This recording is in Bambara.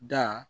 Da